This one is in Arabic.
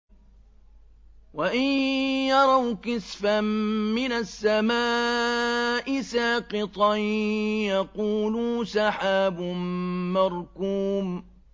وَإِن يَرَوْا كِسْفًا مِّنَ السَّمَاءِ سَاقِطًا يَقُولُوا سَحَابٌ مَّرْكُومٌ